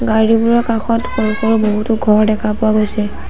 গাড়ীবোৰৰ কাষত সৰু সৰু বহুতো ঘৰ দেখা পোৱা গৈছে।